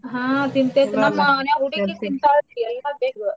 ಹಾ ತಿಂತೆತ್ರೀ ನಮ್ ಮನ್ಯಾಗ್ ಹೂಡ್ಗಿ ತಿಂತಾಳಕಿ ಎಲ್ಲಾ ಬೇಕ್.